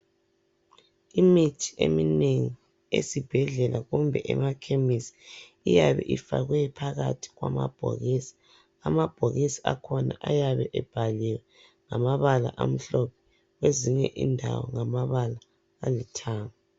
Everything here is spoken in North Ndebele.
Imithi eminengi esibhedlela kumbe emakhemisi iyabe ifakwe phakathi kwamabhokisi. Amabhokisi akhona ayabe ebhaliwe ngamabala amhlophe, kwezinye indawo ngamabala alithanga.